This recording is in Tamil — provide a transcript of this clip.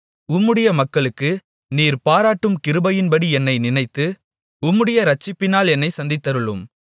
உம்முடைய மக்களுக்கு நீர் பாராட்டும் கிருபையின்படி என்னை நினைத்து உம்முடைய இரட்சிப்பினால் என்னைச் சந்தித்தருளும்